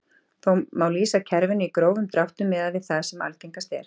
Þó má lýsa kerfinu í grófum dráttum miðað við það sem algengast er.